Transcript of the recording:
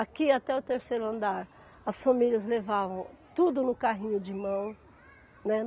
Aqui, até o terceiro andar, as famílias levavam tudo no carrinho de mão, né.